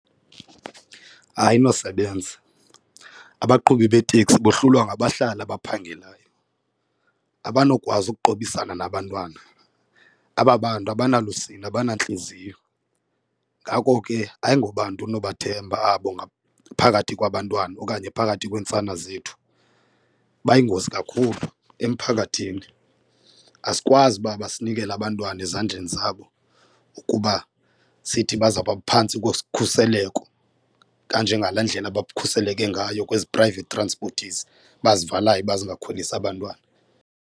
Ayinosebenza. Abaqhubi beetekisi bohlulwa ngabahlali abaphangelayo, abanokwazi okuqubisana nabantwana, aba bantu abanalusini abanantliziyo. Ngako ke ayingobantu unobathemba abo phakathi kwabantwana okanye phakathi kweentsana zethu. Bayingozi kakhulu emphakathini asikwazi uba masinikele abantwana ezandleni zabo, kuba sithi bazawuba aphantsi kokhuseleko kanje ngalaa ndlela bakhuseleke ngayo kwezi private transporters bazivalayo uba zingakhwelisi abantwana.